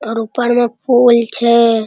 और ऊपर में फूल छे |